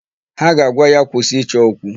Ha ga-agwa ya, "kwụsị ịchọ okwu"!